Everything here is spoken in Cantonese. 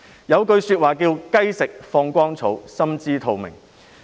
有一句話是："雞食放光蟲——心知肚明"。